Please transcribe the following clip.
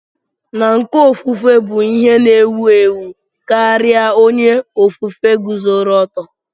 N'uko ofufue bụ ihe na-ewu ewu karịa onye ofufe guzoro oto